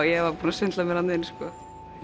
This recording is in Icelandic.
ég var búin að svindla mér þarna inn sko